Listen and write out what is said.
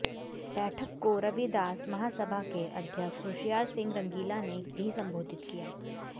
बैठक को रविदास महासभा के अध्यक्ष होशियार सिंह रंगीला ने भी संबोधित किया